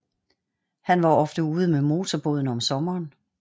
Han var ofte ude med motorbåden om sommeren